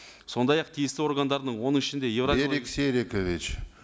сондай ақ тиісті органдарының оның ішінде берик серикович